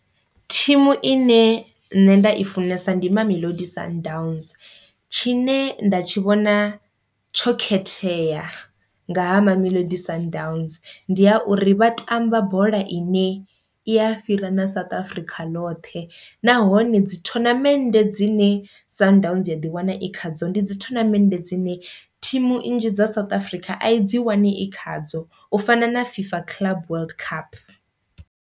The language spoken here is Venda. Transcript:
Thimu ine nṋe nda i funesa ndi Mamelodi Sundowns, tshine nda tshi vhona tsho khethea nga ha Mamelodi Sundowns ndi ha uri vha tamba bola ine i a fhira na South Africa loṱhe, nahone dzi thonamende dzine Sundowns dzi ya ḓi wana i khadzo ndi dzi thonamende dzine thimu nnzhi dza South Africa a i dzi wani i khadzo u fana na FIFA club world cup.